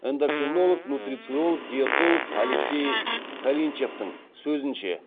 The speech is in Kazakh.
эндокринолог нутрициолог диетолог алексей калинчевтің сөзінше